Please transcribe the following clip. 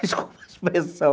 Desculpa a expressão.